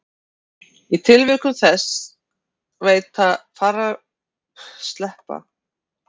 Í tilvikum sem þessum varðveita færeyska og skandinavísku málin fornan framburð betur en íslenska.